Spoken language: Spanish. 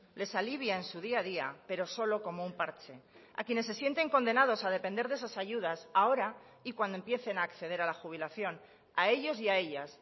les alivia en su día a día pero solo como un parche a quienes se sienten condenados a depender de esas ayudas ahora y cuando empiecen a acceder a la jubilación a ellos y a ellas